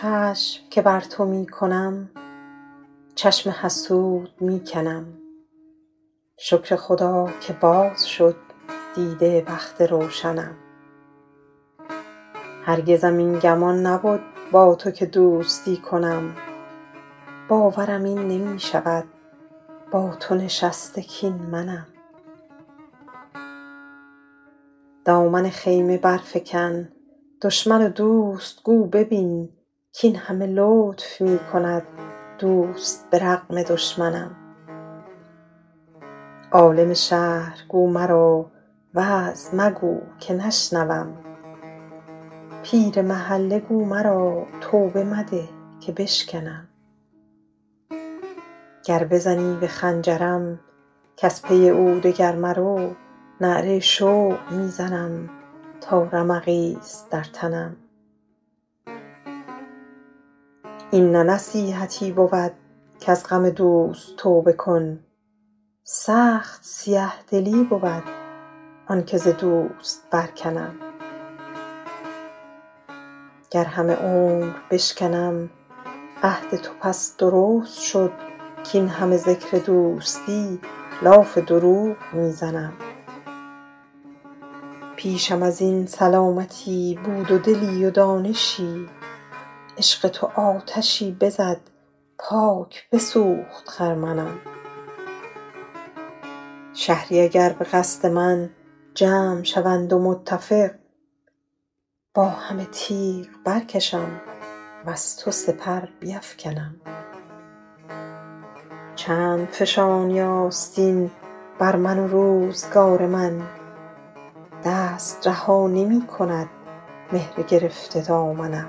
چشم که بر تو می کنم چشم حسود می کنم شکر خدا که باز شد دیده بخت روشنم هرگزم این گمان نبد با تو که دوستی کنم باورم این نمی شود با تو نشسته کاین منم دامن خیمه برفکن دشمن و دوست گو ببین کاین همه لطف می کند دوست به رغم دشمنم عالم شهر گو مرا وعظ مگو که نشنوم پیر محله گو مرا توبه مده که بشکنم گر بزنی به خنجرم کز پی او دگر مرو نعره شوق می زنم تا رمقی ست در تنم این نه نصیحتی بود کز غم دوست توبه کن سخت سیه دلی بود آن که ز دوست برکنم گر همه عمر بشکنم عهد تو پس درست شد کاین همه ذکر دوستی لاف دروغ می زنم پیشم از این سلامتی بود و دلی و دانشی عشق تو آتشی بزد پاک بسوخت خرمنم شهری اگر به قصد من جمع شوند و متفق با همه تیغ برکشم وز تو سپر بیفکنم چند فشانی آستین بر من و روزگار من دست رها نمی کند مهر گرفته دامنم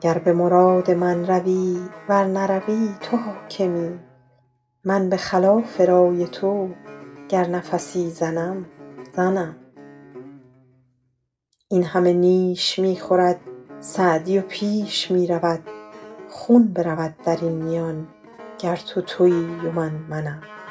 گر به مراد من روی ور نروی تو حاکمی من به خلاف رای تو گر نفسی زنم زنم این همه نیش می خورد سعدی و پیش می رود خون برود در این میان گر تو تویی و من منم